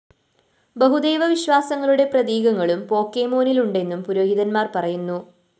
ബഹുദൈവ വിശ്വാസങ്ങളുടെ പ്രതീകങ്ങളും പോക്കെമോനില്‍ ഉണ്ടെന്നും പുരോഹിതന്മാര്‍ പറയുന്നു